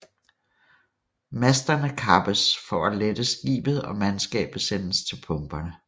Masterne kappes for at lette skibet og mandskabet sendes til pumperne